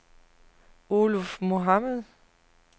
Oluf Mohamed